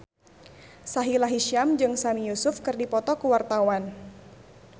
Sahila Hisyam jeung Sami Yusuf keur dipoto ku wartawan